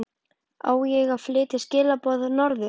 Á ég að flytja skilaboð norður?